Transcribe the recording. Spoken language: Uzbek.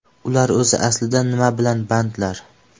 Ular o‘zi aslida nima bilan bandlar?